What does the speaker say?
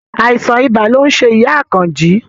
Àìsàn ibà lo ń ṣe ìyá Àkànjí